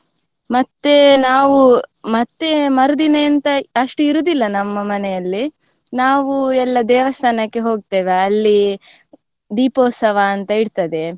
ಮತ್ತೆ ನಾವು ಮತ್ತೆ ಮರುದಿನ ಎಂತ ಅಷ್ಟು ಇರುದಿಲ್ಲ ನಮ್ಮ ಮನೆಯಲ್ಲಿ ನಾವು ಎಲ್ಲ ದೇವಸ್ಥಾನಕ್ಕೆ ಹೋಗ್ತೇವೆ ಅಲ್ಲಿ ದೀಪೋತ್ಸವ ಅಂತ ಇರ್ತದೆ